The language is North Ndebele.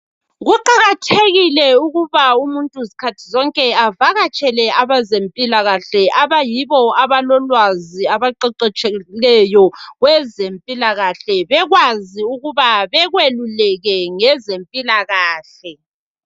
Kuqakathekile ukuba umuntu zikhathi zonke avakatsela abezempilakahle abayibo abalolwazi abaqeqetshileyo kwezempilakahle bekwazi ukuba bakweluleke ngezempilakahle .